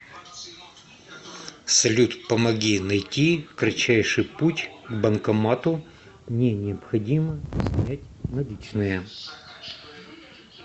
салют помоги найти кратчайший путь к банкомату мне необходимо снять наличные